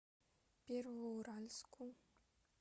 первоуральску